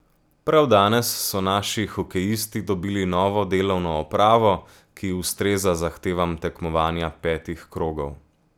Prav danes so naši hokejisti dobili novo delovno opravo, ki ustreza zahtevam tekmovanja petih krogov.